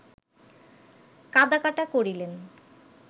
কাঁদাকাটা করিলেন